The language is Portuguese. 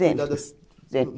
Sempre.